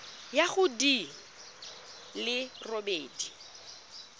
ya go di le robedi